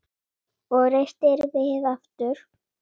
Og reistir við aftur.